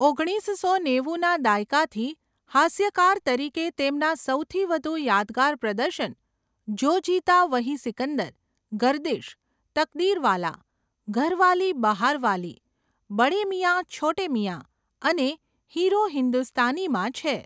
ઓગણીસસો નેવુંના દાયકાથી હાસ્યકાર તરીકે તેમના સૌથી વધુ યાદગાર પ્રદર્શન જો જીતા વહી સિકંદર, ગર્દિશ, તકદીરવાલા, ઘરવાલી બહાર વાલી, બડે મિયાં છોટે મિયાં અને હીરો હિન્દુસ્તાનીમાં છે.